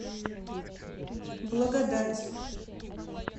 благодать